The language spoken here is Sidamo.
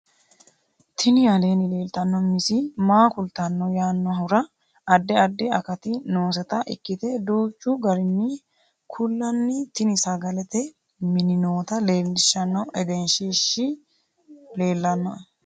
tini aleenni leeltanno misi maa kultanno yaannohura addi addi akati nooseta ikkite duuchchu garinni kullanni tini sagalete mini noota leeellishshanno egenshshiishi leellannoe